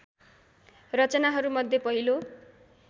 रचनाहरू मध्ये पहिलो